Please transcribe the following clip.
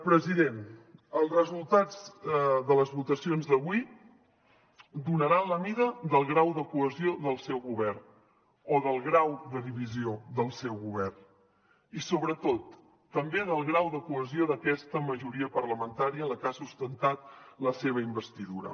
president els resultats de les votacions d’avui donaran la mida del grau de cohesió del seu govern o del grau de divisió del seu govern i sobretot també del grau de cohesió d’aquesta majoria parlamentària en la que ha sustentat la seva investidura